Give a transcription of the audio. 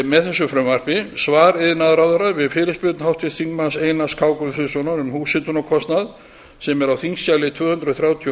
með þessu frumvarpi svar iðnaðarráðherra við fyrirspurn einars k guðfinnssonar um húshitunarkostnað sem er á þingskjali tvö hundruð þrjátíu og